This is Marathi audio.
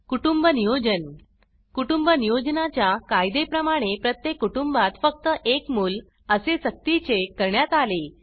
कुटुंब नियोजन कुटुंब नियोजना च्या कायदे प्रमाणे प्रत्येक कुटुंबात फक्त एक मूल असे स्कतीचे करण्यात आले